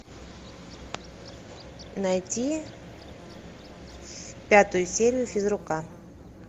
найти пятую серию физрука